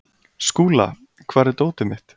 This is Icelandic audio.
Skúla, hvar er dótið mitt?